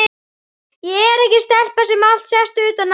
Ég er ekki stelpa sem allt sést utan á.